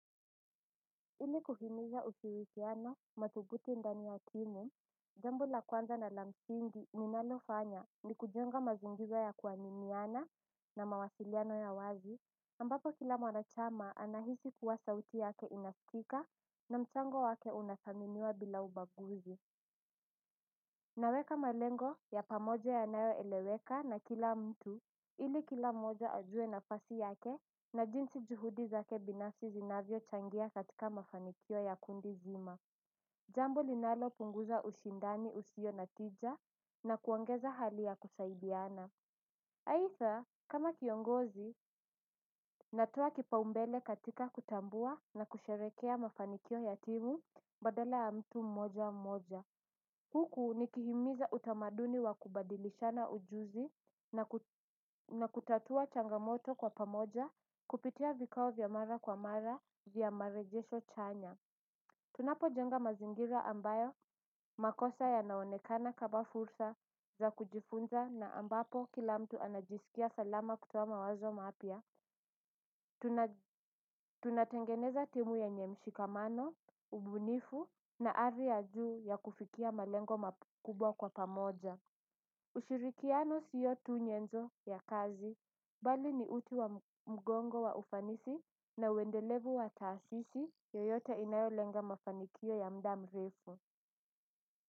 Ili kuhimiza ushirikiano, thabiti ndani ya timu. Jambo la kwanza na la msingi ninalofanya ni kujenga mazingira ya kuaminiana na mawasiliano ya wazi, ambapo kila mwanachama anahisi kuwa sauti yake inasikika na mchango wake unathaminiwa bila ubaguzi. Naweka malengo ya pamoja yanayoeleweka na kila mtu ili kila mmoja ajue nafasi yake na jinsi juhudi zake binafsi zinavyochangia katika mafanikio ya kundi zima. Jambo linaloounguza ushindani usio na tija na kuongeza hali ya kusaidiana. Aidha, kama kiongozi, natoa kipaumbele katika kutambua na kusherehekea mafanikio ya timu badala ya mtu mmoja mmoja. Huku nikihimiza utamaduni wa kubadilishana ujuzi na kutatua changamoto kwa pamoja kupitia vikao vya mara kwa mara vya maoni chanya. Tunapojenga mazingira ambayo makosa yanaonekana kama fursa za kujifunza na ambapo kila mtu anajisikia salama kutoa mawazo mapya. Tunatengeneza timu yenye mshikamano, ubunifu na ari ya juu ya kufikia malengo makubwa kwa pamoja. Ushirikiano sio tu nyenzo ya kazi, bali ni uti wa mgongo wa ufanisi na uendelevu wa taasisi yoyote inayolenga mafanikio ya muda mrefu.